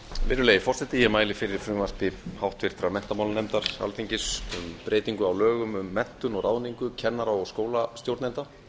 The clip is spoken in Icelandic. virðulegi forseti ég mæli fyrir frumvarpi háttvirtur menntamálanefndar alþingis um breytingu á lögum um menntun og ráðningu kennara og skólastjórnenda